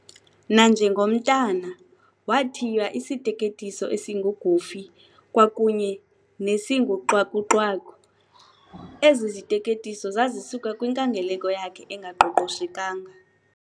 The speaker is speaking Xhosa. Nanjengomntana wathiywa isiteketiso esinguGoofy kwakunye nesinguXwaku-Xwaku, ezi ziteketiso zazisuka kwinkangeleko yakhe engaqoqoshekanga.